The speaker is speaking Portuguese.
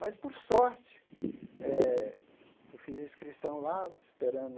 Mas, por sorte eh, eu fiz a inscrição lá, esperando...